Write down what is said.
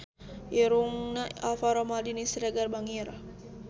Irungna Alvaro Maldini Siregar bangir